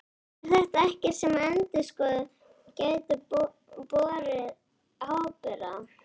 Er þetta ekkert sem að endurskoðendur gætu borið ábyrgð á?